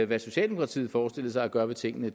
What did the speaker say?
hvad socialdemokratiet forestillede sig at gøre ved tingene